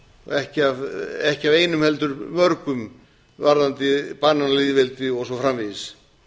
ekki af einum heldur mörgum varðandi bananalýðveldi og svo framvegis